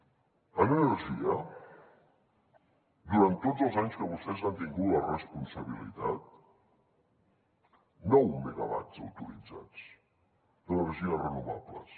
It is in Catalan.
en energia durant tots els anys que vostès han tingut la responsabilitat nou megawatts autoritzats d’energies renovables